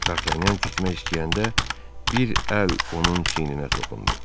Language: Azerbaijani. Dartanyan getmək istəyəndə bir əl onun çiyninə toxundu.